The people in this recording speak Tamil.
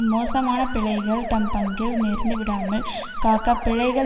மோசமான பிழைகள் தம் பங்கில் நேர்ந்து விடாமல் காக்க பிழைகள்